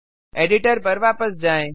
editor पर वापस जाएँ